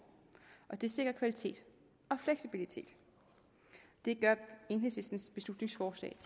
og det sikrer kvalitet og fleksibilitet det gør enhedslistens beslutningsforslag